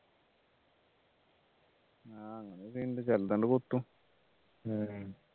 ആഹ് അങ്ങനെയൊക്കെ ഉണ്ട് ചെലതങ് കൊത്തും